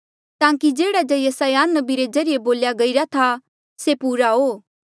ताकि जेह्ड़ा जे यसायाह नबी रे ज्रीए बोल्या गईरा था से पूरा हो